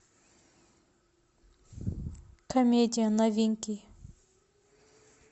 комедия новинки